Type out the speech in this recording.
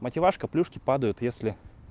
мативашка плюшки падают если